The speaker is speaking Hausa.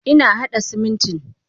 Ina hada Simintin.